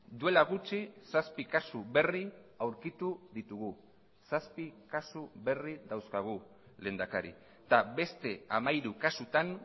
duela gutxi zazpi kasu berri aurkitu ditugu zazpi kasu berri dauzkagu lehendakari eta beste hamairu kasutan